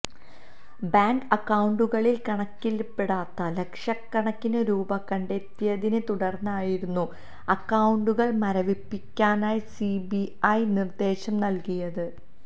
bank അക്കൌണ്ടുകളില് കണക്കില്പ്പെടാത്ത ലക്ഷകണക്കിന് രൂപ കണ്ടെത്തിയതിനെ തുടര്ന്നായിരുന്നു അക്കൌണ്ടുകള് മരവിപ്പിക്കാന് സി ബി ഐ നിര്ദ്ദേശം നല്കിയത്